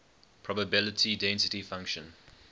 probability density function